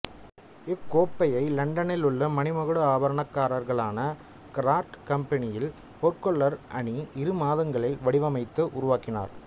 இக்கோப்பையை இலண்டனில் உள்ள மணிமகுட ஆபரணக்காரர்களான கர்ரார்ட் கம்பனியின் பொற்கொல்லர் அணி இரு மாதங்களில் வடிவமைத்து உருவாக்கினர்